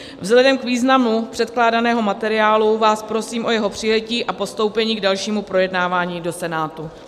Vzhledem k významu předkládaného materiálu vás prosím o jeho přijetí a postoupení k dalšímu projednávání do Senátu.